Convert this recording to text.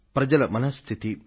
ప్రజల మనః స్థితి